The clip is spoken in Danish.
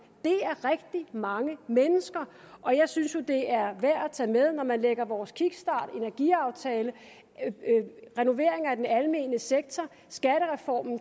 det er rigtig mange mennesker og jeg synes jo det er værd at tage med at når man lægger vores kickstart energiaftale renovering af den almene sektor og